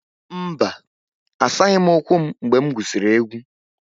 Mba, asaghị m ụkwụ m mgbe m gwusiri egwu